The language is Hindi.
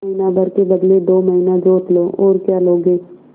महीना भर के बदले दो महीना जोत लो और क्या लोगे